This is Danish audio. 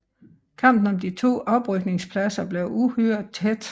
Kampen om de to oprykningspladser blev uhyre tæt